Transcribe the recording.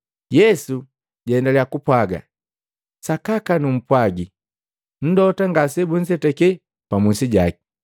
Yesu jaendaliya kupwaaga, “Sakaka numpwagi, mlota ngasebunzetake pamusi jaki.